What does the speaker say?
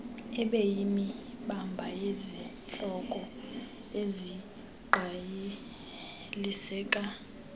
ibeyimiba yezihloko ezingqaliseka